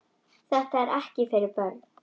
Þetta er ekki fyrir börn.